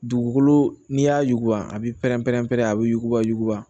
Dugukolo n'i y'a yuguba a b'i pɛrɛn-pɛrɛn-pɛrɛn a bɛ yuguba yuguba